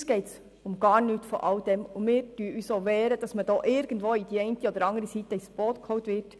» Uns geht es um gar nichts von alldem, und wir wehren uns auch, von der einen oder anderen Seite ins Boot geholt zu werden.